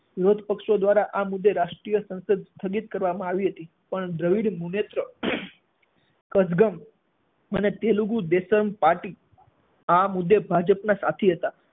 વિરોધ પક્ષો દ્વારા આ મુદ્દે રાષ્ટ્રીય સંસદ સ્થગિત કરવામાં આવી હતી, પણ દ્રવિડ મુનેત્ર કઝગમ અને તેલુગુ દેસમ પાર્ટી આ મુદ્દે ભાજપનાં સાથી હતાં.